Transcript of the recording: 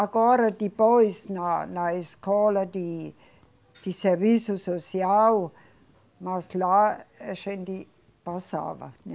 Agora, depois, na, na escola de, de serviço social, mas lá a gente passava, né?